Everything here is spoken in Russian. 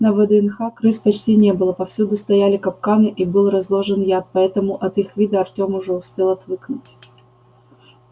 на вднх крыс почти не было повсюду стояли капканы и был разложен яд поэтому от их вида артем уже успел отвыкнуть